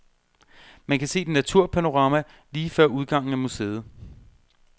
Man kan se et naturpanorama lige før udgangen af museet.